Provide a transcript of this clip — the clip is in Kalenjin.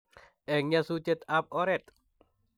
Eng nyasutietab oret.